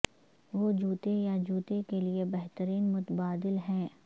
وہ جوتے یا جوتے کے لئے بہترین متبادل ہیں